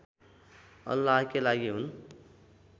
अल्लाहकै लागि हुन्